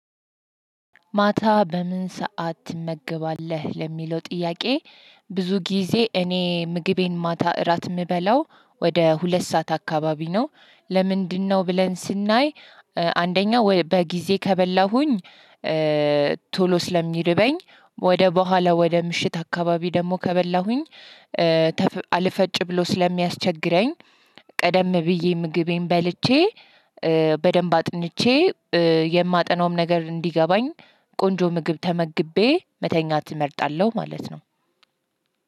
ማታ በምን ሰዓት ትመገባለህ ለሚለው ጥያቄ ብዙ ጊዜ እኔ ምግቤን ማታ እራት የምበላው ወደ ሁለት ሰዓት አካባቢ ነው። ለምንድነው ብለን ስናይ? አንደኛ በጊዜ ከበላሁኝ። ቶሎ ስለሚርበኝ ወደ በኋላ ወደ ምሽት አካባቢ ደግሞ ከበላሁኝ አልፈጭ ብሎ ስለሚያስቸግረኝ። ቀደም ብዬ ምግቤን በልቼ በደንብ አጥንቼ የማጠናውም ነገር እንዲገባኝ ቆንጆ ምግብ ተመግቤ መተኛት እመርጣለሁ። ማለት ነው።